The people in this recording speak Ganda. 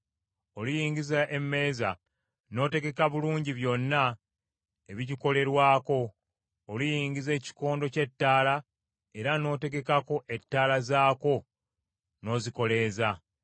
Oliyingiza emmeeza, n’otegeka bulungi byonna ebigikolerwako. Oliyingiza ekikondo ky’ettaala era n’otegekako ettaala zaakwo n’ozikoleeza.